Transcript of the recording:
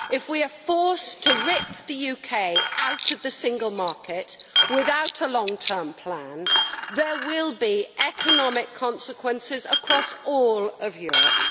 if we are forced to rip the UK out of the single market without a long term plan, there will be economic consequences across all of Europe.